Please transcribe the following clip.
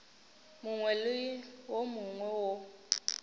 mongwe le wo mongwe wo